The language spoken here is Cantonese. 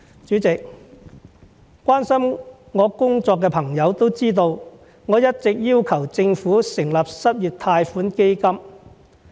主席，關心我工作的朋友都知道，我一直要求政府成立失業貸款基金。